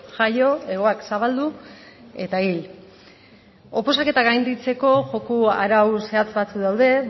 jaio hegoak zabaldu eta hil oposaketak gainditzeko joko arau zehatz batzuk daude